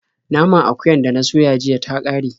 Naman akuyar da na soya jiya ta ƙare.